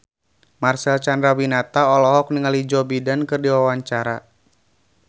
Marcel Chandrawinata olohok ningali Joe Biden keur diwawancara